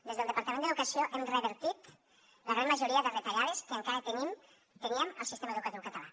des del departament d’educació hem revertit la gran majoria de retallades que encara teníem al sistema educatiu català